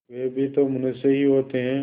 वे भी तो मनुष्य ही होते हैं